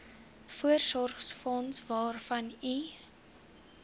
voorsorgsfonds waarvan u